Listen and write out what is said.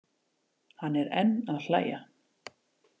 Hann er enn að hlæja.